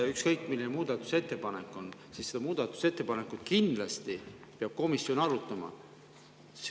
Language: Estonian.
Ükskõik, milline muudatusettepanek on, komisjon peab kindlasti seda arutama.